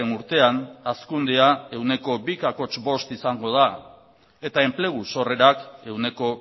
urtean hazkundea ehuneko bi koma bost izango da eta enplegu sorrerak ehuneko